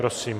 Prosím.